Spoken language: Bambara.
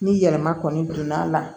Ni yɛlɛma kɔni donna a la